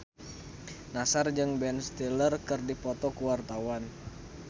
Nassar jeung Ben Stiller keur dipoto ku wartawan